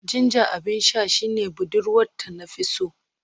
Ginger abin sha shine budurwata na fi so